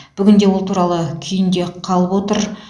бүгінде ол туралы күйінде қалып отыр